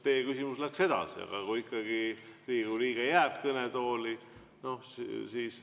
Teie küsimus läks edasi: aga kui ikkagi Riigikogu liige jääb kõnetooli?